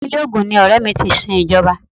Ìpínlè Ogun ni ọrẹ mi ti sin Ìjọba.